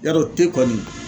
Yarɔ te kɔni